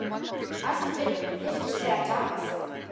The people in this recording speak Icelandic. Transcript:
Allt virtist vera tapað.